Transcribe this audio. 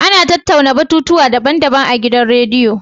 Ana tattauna batutuwa daban-daban a gidan rediyo.